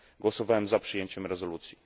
Głosowałem za przyjęciem rezolucji.